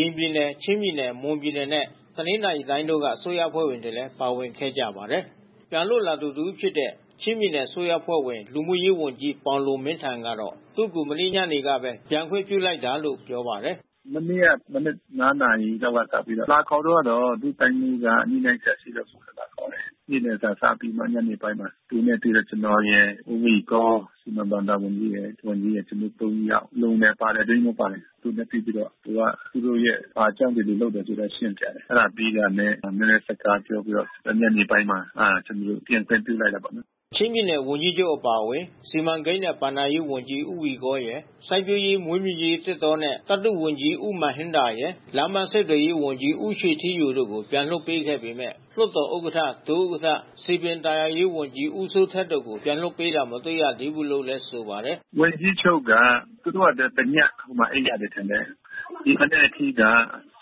ရင်ပြည်နယ်၊ ချင်းပြည်နယ်၊ မွန်ပြည်နယ်နဲ့ တနင်္သာရီတိုင်းတို့က အစိုးရအဖွဲ့ဝင်တွေလည်း ပါဝင်ခဲ့ကြပါတယ်။ ပြန်လွတ်လာသူ တဦးဖြစ်တဲ့ ချင်းပြည်နယ်အစိုးရအဖွဲ့ဝင် လူမှုရေးဝန်ကြီးပေါင်လွန်မင်းထန်ကတော့ သူ့ကို မနေ့ညနေကပဲ ပြန်ခွင့်ပြုလိုက်တာလို့ ပြောပါတယ်။ “မနေ့က မနက် ၅ နာရီလောက်ကစပြီးတော့ လာခေါ်သွားတောာ့ ဒုတိုင်းမှူးက ညှိနှိုင်းစရာ ရှိလို့ လာခေါ်တယ်။ နေ့လယ်စာ စားပြီး ညနေပိုင်းမှာ သူတို့နဲ့တွေ့တယ်။ ကျနော်ရယ်၊ ဦးဝီကော စီမံဘဏ္ဍာဝန်ကြီးရယ်၊ မန်ဟင်ရယ်၊ ကျနော်တို့ သုံးယောက် လုံနယ်ပါတယ်၊ အတွင်းရေးမှူးပါတယ်။ သူတို့နဲ့တွေ့ပြီးတော့ သူက သူတို့ရဲ့ ဘာကြောင့်ဒီလိုလုပ်ရသလဲဆိုတာ ရှင်းပြတယ်။ အဲဒါပြီးတာနဲ့ နည်းနည်းစကားပြောပြီးတော့ ညနေပိုင်းမှာ ကျနော်တို့ကို ပြန်လွှတ်ပေးလိုက်တာပေါ့။” ချင်းပြည်နယ် ဝန်ကြီးချုပ်အပါဝင် စီမံကိန်းနှင့်ဘဏ္ဍာရေးဝန်ကြီးဦးဝီကောရယ်၊ စိုက်ပျိူးရေး၊ မွေးမြူရေး၊ သစ်တောနှင့် သတ္တုဝန်ကြီးဦးမာန်ဟင်ဒါလ်ရယ်၊ လမ်းပန်းဆက်သွယ်ရေးဝန်ကြီး ဦးရွှေထီးယိုကို ပြန်လွှတ်ပေးခဲ့ပေမဲ့ လွှတ်တော်ဥက္ကဋ္ဌ၊ ဒု-ဥက္ကဌ၊ စည်ပင်သာယာရေးဝန်ကြီး ဦးစိုးထက်တို့ကို ပြန်လွှတ်ပေးတာ မတွေ့ရသေးဘူးလို့လည်း ပြောပါတယ်။ “ဝန်ကြီးချုပ်က သူတို့ကတည ဟိုမှာ အိပ်ရတယ်ထင်တယ်။ ဒီမနက်အထိက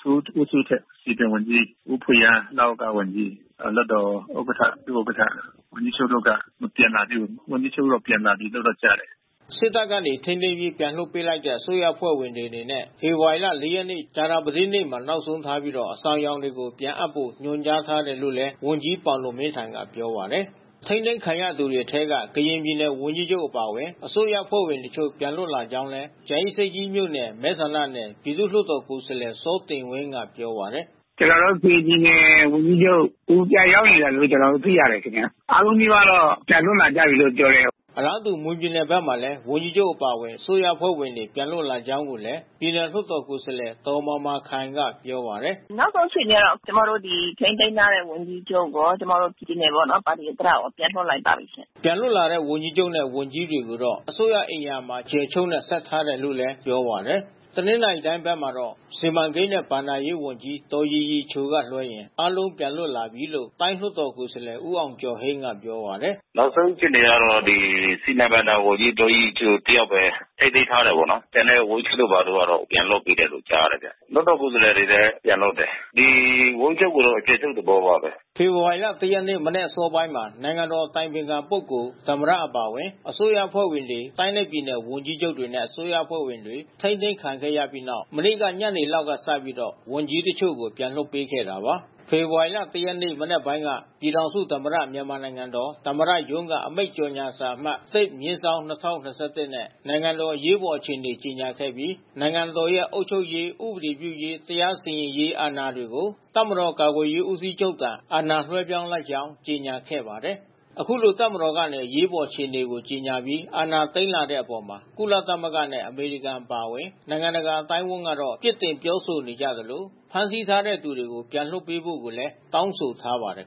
ဦးစိုးထက် စည်ပင်ဝန်ကြီး၊ ဦးဖွေအာ၊ ဝန်ကြီးလွှတ်တော်ဥက္ကဋ္ဌ၊ ဒု-ဥက္ကဋ္ဌ မပြန်လာသေးဘူး။ ဝန်ကြီးချုပ်တော့ပြန်လာပြီးတော့ကြားတယ်။” စစ်တပ်က ထိန်းသိမ်းပြီး ပြန်လွှတ်ပေးလိုက်တဲ့ အစိုးရအဖွဲ့ဝင်တွေအနေနဲ့ ဖေဖော်ဝါရီ ၄ ရက်နေ့ ကြာသပတေးနေ့မှာ နောက်ဆုံးထားပြီး အဆောင်ယောင်တွေ ပြန်အပ်ဖို့ ညွန်ကြားထားတယ်လို့လည်း ဝန်ကြီးပေါင်လွန်မင်းထန်ကပြောပါတယ်။ ထိန်းသိမ်းခံရသူတွေထဲက ကရင်ပြည်နယ်ဝန်ကြီးချုပ်အပါအဝင် အစိုးရအဖွဲ့ဝင်တချို့ ပြန်လွတ်လာကြောင်းလည်း ကြာအင်းဆိပ်ကြီးမြို့နယ် မဲဆန္ဒနယ် ပြည်သူ့လွှတ်တော်ကိုယ်စားလှယ် စောတင်ဝင်းကပြောပါတယ်။ “ကျနော်တို့ ကရင်ပြည်နယ် ဝန်ကြီးချုပ် သူပြန်ရောက်နေတယ်လို့ ကျနော်တို့ သိရတယ်။ အားလုံးနီးပါးတော့ ပြန်လွတ်လာကြပြီလို့ ပြောတယ်။” အလားတူ မွန်ပြည်နယ်ဘက်မှာလည်း ဝန်ကြီးချုပ်အပါဝင် အစိုးရအဖွဲ့ဝင်တွေ ပြန်လွတ်လာကြောင်းကိုလည်း ပြည်နယ်လွှတ်တော် ကိုယ်စားလှယ် ဒေါ်မာမာခိုင်ကပြောပါတယ်။ “နောက်ဆုံးအခြေအနေက ကျမတို့ ဒီထိန်းသိမ်းထားတဲ့ ဝန်ကြီးချုပ်ရော၊ ကျမတို့ မွန်ပြည်နယ်ပါတီဥက္ကဋ္ဌရော ပြန်လွှတ်လိုက်ပါပြီး။” ပြန်လွတ်လာတဲ့ ဝန်ကြီးချုပ်နဲ့ ဝန်ကြီးတွေကိုတော့ အစိုးရအိမ်ယာမှာ အကျယ်ချူပ်နဲ့ ဆက်ထားတယ်လို့လည်း ပြောပါတယ်။ တနင်္သာရီတိုင်းဘက်မှာတော့ စီမံကိန်းနှင့် ဘဏ္ဍာရေးဝန်ကြီးဒေါ်ရီရီချိုက လွဲရင် အားလုံးပြန်လွတ်လာပြီလို့ တိုင်းလွှတ်တော်ကိုယ်စားလှယ် ဦးအောင်ကျော်ဟိန်းကပြောပါတယ်။ “နောက်ဆုံးအခြေအနေက စီမံဘဏ္ဍာဝန်ကြီး ဒေါ်ရီရီချို တယောက်ပဲ ထိန်းသိမ်းထားတယ်ပေါ့နော်။ ကျန်တဲ့ဝန်ကြီးချုပ်တို့ကတော့ ပြန်လွှတ်ပေးတယ်လို့ ကြားတယ်လေ။ လွှတ်တော်ကိုယ်စားလှယ်တွေလည်း ပြန်လွှတ်တယ်။ ဝန်ကြီးချုပ်ကိုတော့ အကျယ်ချုပ်သဘောပါပဲ။” ဖေဖော်ဝါရီ ၁ ရက်နေ့ မနက်အစောပိုင်းမှာ နိုင်ငံတော်အတိုင်ပင်ခံပုဂ္ဂိုလ်၊ သမ္မတ အပါအဝင် အစိုးရအဖွဲ့ဝင်တွေ၊ တိုင်းနဲ့ပြည်နယ် ဝန်ကြီးချုပ်တွေနဲ့ အစိုးရအဖွဲ့ဝင်တွေ ထိန်းသိမ်းခံခဲ့ရပြီးနောက် မနေ့က ညနေလောက်ကစပြီး ဝန်ကြီးတချို့ကို ပြန်လွှတ်ပေးခဲ့တာပါ။ ဖေဖော်ဝါရီလ ၁ ရက်နေ့ မနက်ပိုင်းက ပြည်ထောင်စုသမ္မတ မြန်မာနိုင်ငံတော်သမ္မတရုံးက အမိန့် ကြေညာစာအမှတ် ၁/၂၀၂၁ နဲ့ နိုင်ငံတော်အား အရေးပေါ်အခြေအနေကြေညာခဲ့ပြီး နိုင်ငံတော်ရဲ့ အုပ်ချုပ်ရေး၊ ဥပဒေပြုရေး တရားစီရင်ရေး အာဏာတွေကို တပ်မတော်ကာကွယ်ရေးဦးစီးချုပ်ထံ အာဏာလွှဲပြောင်းလိုက်ကြောင်း ကြေညာခဲ့ပါတယ်။ အခုလိုတပ်မတော်ကနေ အရေးပေါ်အခြေအနေကြေညာပြီး အာဏာသိမ်းလာတဲ့အပေါ် ကုလသမဂ္ဂနဲ့ အမေရိကန်အပါအဝင် နိုင်ငံတကာအသိုင်းအဝန်းကတော့ ပြစ်တင်ပြောဆိုနေကြသလို ဖမ်းဆီးထားတဲ့ သူတွေပြန်လွှတ်ပေးဖို့လည်း တောင်းဆိုထားပါတယ်